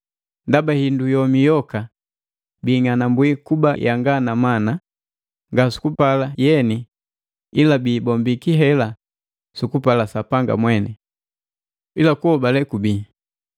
Ndaba hindu yomi yoka biing'anambwi kuba yanga na mana, nga sukupala yeni ila biibombiki hela sukupala Sapanga mweni. Ila kuhobale kubii,